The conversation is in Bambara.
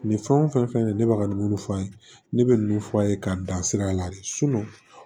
Nin fɛn o fɛn filɛ nin ye ne bɛ ka nin minnu f'a ye ne bɛ ninnu fɔ a ye k'a dan sira la de